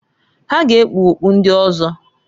Ha ga ekpu okpu ndi ọzọ.